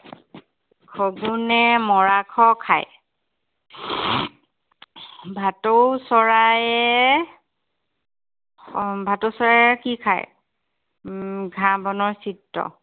শগুণে মৰাশ খায়। ভাটৌ চৰায়ে উম ভাটৌ চৰায়ে কি খায়। উম ঘাঁহ বনৰ চিত্ৰ